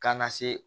Ka na se